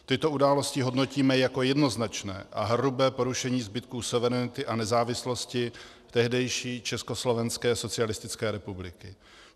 Tyto události hodnotíme jako jednoznačné a hrubé porušení zbytků suverenity a nezávislosti tehdejší Československé socialistické republiky.